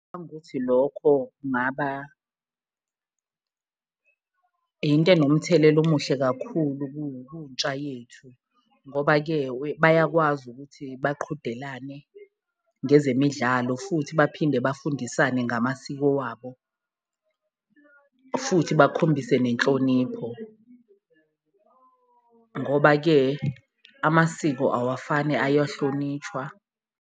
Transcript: ukuthi lokho kungaba into enomthelela omuhle kakhulu kuntsha yethu ngoba-ke bayakwazi ukuthi baqhudelane ngezemidlalo, futhi baphinde bafundisane ngamasiko wabo, futhi bakhombise nenhlonipho ngoba-ke amasiko awafani ayahlonishwa.